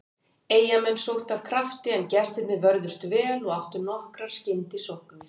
Eyjamenn sóttu af krafti, en gestirnir vörðust vel og áttu nokkrar skyndisóknir.